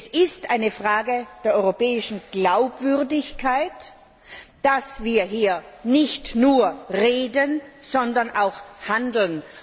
Es ist eine Frage der europäischen Glaubwürdigkeit, dass wir hier nicht nur reden, sondern auch handeln.